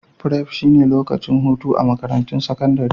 Prep shine lokacin hutu a Makarantun Sakandare